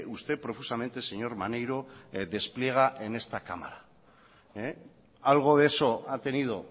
usted profusamente señor maneiro despliega en esta cámara algo de eso ha tenido